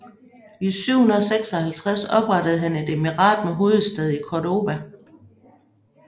I 756 oprettede han et emirat med hovedstad i Córdoba